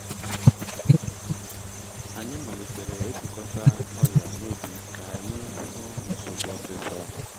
anyị malitere ịgụkọta ọrịa n’ubi ka anyị hụ nsogbu osisor